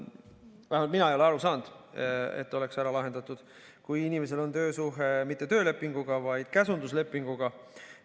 Vähemalt ei ole mina aru saanud, et oleks ära lahendatud see, kui inimesel on töösuhe mitte töölepingu, vaid käsunduslepingu alusel.